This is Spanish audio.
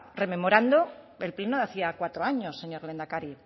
rememorando el pleno de hacía cuatro años señor lehendakari